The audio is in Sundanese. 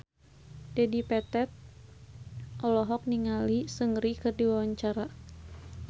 Dedi Petet olohok ningali Seungri keur diwawancara